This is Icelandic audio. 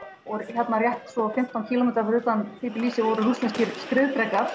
hérna rétt svo fimmtán kílómetra fyrir utan Tblisi voru rússneskir skriðdrekar